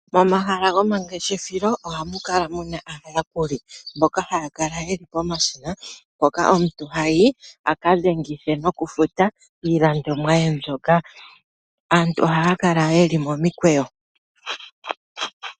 Momahala gomangeshefelo ohamu kala muna aayakuli mboka haya kala yeli pomashina mpoka omuntu hayi a ka dhengithe nokufuta iilandomwa ye mbyoka. Aantu ohaya kala yeli momikweyo.